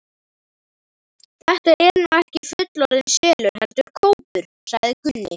Þetta er nú ekki fullorðinn selur, heldur kópur, sagði Gunni.